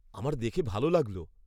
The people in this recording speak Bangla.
আমার দেখে ভাল লাগল।